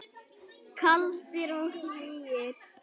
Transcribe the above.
Kaldir og hlýir.